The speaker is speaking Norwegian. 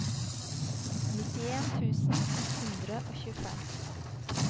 nittien tusen ett hundre og tjuefem